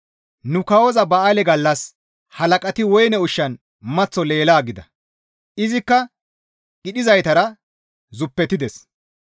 Nu kawoza ba7aale gallas halaqati woyne ushshan maththo leelaa gida. Izikka qidhizaytara zuppetides.